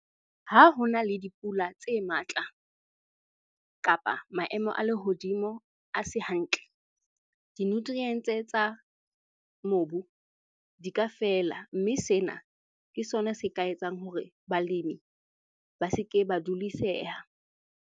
Ha hona le dipula tse matla kapa maemo a lehodimo a se hantle, di-nutrients-e tsa mobu di ka fela. Mme sena ke sona se ka etsang hore balemi ba se ke ba duliseha.